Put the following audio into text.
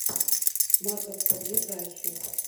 маковка ближайший